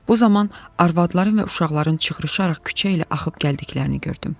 Bu zaman arvadların və uşaqların çıxışaraq küçə ilə axıb gəldiklərini gördüm.